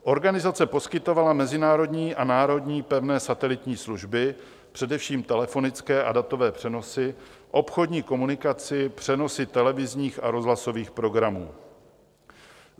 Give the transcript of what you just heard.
Organizace poskytovala mezinárodní a národní pevné satelitní služby, především telefonické a datové přenosy, obchodní komunikaci, přenosy televizních a rozhlasových programů.